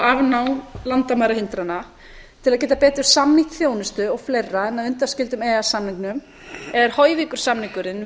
afnám landamærahindrana til að geta betur samnýtt þjónustu og fleiri með undanskildum e e s samningnum er höyvíkursamningurinn